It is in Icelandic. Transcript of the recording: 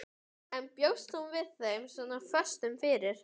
En bjóst hún við þeim svona föstum fyrir?